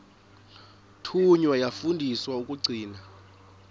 thunywa yafundiswa ukugcina